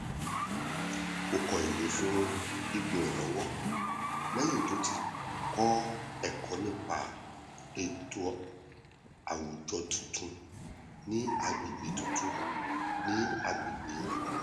ó kọ ìwé fún ipò olùrànlọwọ lẹyìn tó ti kọ ẹkọ nípa ètò àwùjọ tuntun ní agbègbè tuntun ní agbègbè rẹ